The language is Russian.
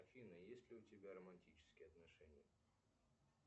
афина есть ли у тебя романтические отношения